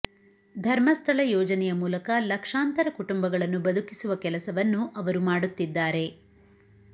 ಧರ್ಮಸ್ಥಳ ಯೋಜನೆಯ ಮೂಲಕ ಲಕ್ಷಾಂತರ ಕುಟುಂಬಗಳನ್ನು ಬದುಕಿಸುವ ಕೆಲಸವನ್ನು ಅವರು ಮಾಡುತ್ತಿದ್ದಾರೆ